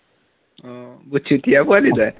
আহ বৰ পোৱালী তাই